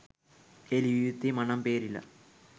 එය ලිවිය යුත්තේ මනම්පේරිලා